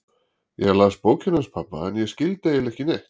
Ég las bókina hans pabba en ég skildi eiginlega ekki neitt.